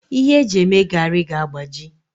Ihe eji eme garri ga-agbaji